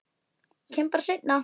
Kem bara seinna.